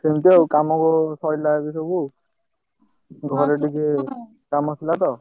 ସେମତି ଆଉ କାମ ସଇଲା ଏବେ ସବୁ ଘରେ ଟିକେ କାମ ଥିଲା ତ।